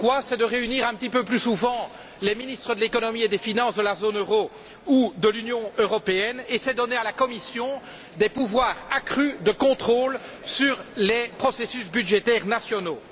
C'est de réunir un petit peu plus souvent les ministres de l'économie et des finances de la zone euro ou de l'Union européenne et de donner à la Commission des pouvoirs de contrôle accrus sur les processus budgétaires nationaux.